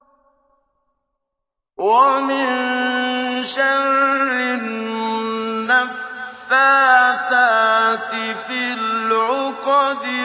وَمِن شَرِّ النَّفَّاثَاتِ فِي الْعُقَدِ